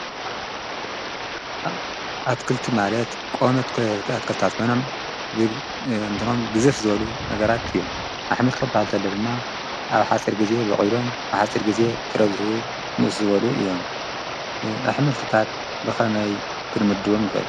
ኣትክልቲ ማለት ቀወምቲ ኣትክልቲ ኮይኖም እንትኖም ግዝፍ ዝበሉ ነገራት እዮም፡፡ ኣሕምልቲ ማለት ድማ ኣብ ሓፂር ግዜ ቦቅሎም ኣብ ሓፂር ግዜ ፍረ ዝህቡ ንእስ ዝበሉ እዮም፡፡ ኣሕምልትታት ብኸመይ ክንምድቦም ንክእል?